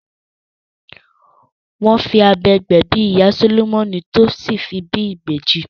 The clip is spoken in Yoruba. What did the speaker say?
Wọ́n fi abẹ gbẹ̀bí ìyá Sólómọ́nì tí ó sì fi bí ibeji